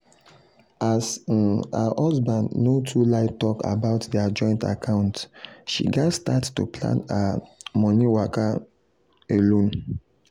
as um her husband no too like talk about their joint account she gats start to plan her um money waka um alone.